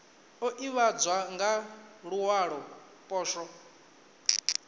o ivhadzwa nga luwalo poswo